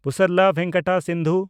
Pusarla Venkata Sindhu